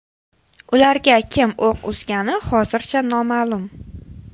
Ularga kim o‘q uzgani hozircha noma’lum.